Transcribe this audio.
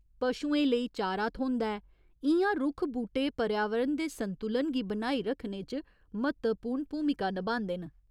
पशुएं लेई चारा थ्होंदा ऐ, इ'यां रुक्ख बूह्टे पर्यावरण दे संतुलन गी बनाई रक्खने च म्हत्तपूर्ण भूमिका नभांदे न।